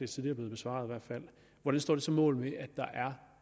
tidligere blevet besvaret sådan hvordan står det så mål med at der